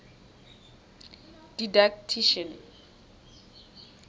didactician